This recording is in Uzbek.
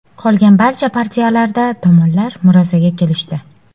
Qolgan barcha partiyalarda tomonlar murosaga kelishdi.